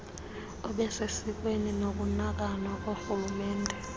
obusesikweni nokunakanwa korhulumente